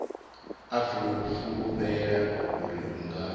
a fulufhela uri u nga